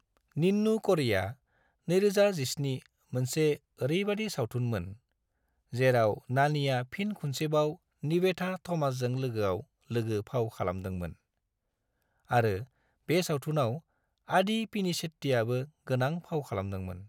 निन्नू क'री'आ (2017) मोनसे ओरैबादि सावथुनमोन, जेराव नानीआ फिन खुनसेबाव निवेथा थमासजों लोगोआव लोगो फाव खालामदोंमोन, आरो बे सावथुनाव आदि पिनिसेट्टीआबो गोनां फाव खालामदोंमोन।